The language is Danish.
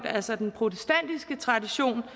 altså den protestantiske tradition